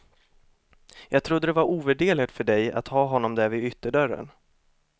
Jag trodde det var ovärderligt för dig att ha honom där vid ytterdörren.